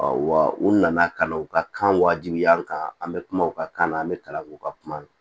wa u nana ka na u ka kan wajibiya an kan an be kuma u ka kan na an be kalan k'u ka kuma